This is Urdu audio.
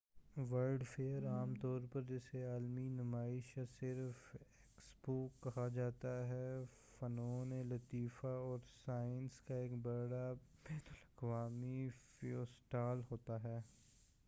ورلڈ فیئر عام طور پر جسے عالمی نمائش یا صرف ایکسپو کہا جاتا ہے فنون لطیفہ اور سائنسز کا ایک بڑا بین الاقوامی فیسٹول ہوتا ہے-